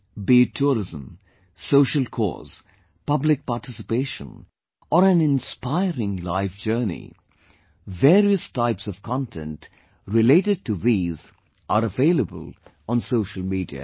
Be it tourism, social cause, public participation or an inspiring life journey, various types of content related to these are available on social media